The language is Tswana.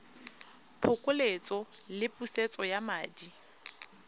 phokoletso le pusetso ya madi